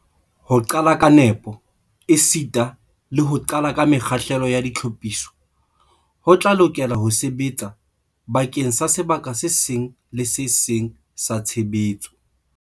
Ho qala ka nepo esita le ho qala ka mekgahlelo ya ditlhophiso ho tla lokela ho sebetsa bakeng sa sebaka se seng le se seng sa tshebetso.